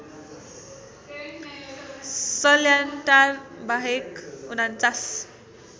सल्यानटार बाहेक ४९